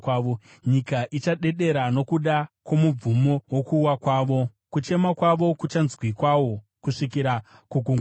Nyika ichadedera nokuda kwomubvumo wokuwa kwavo; kuchema kwavo kuchanzwikwawo kusvikira kuGungwa Dzvuku.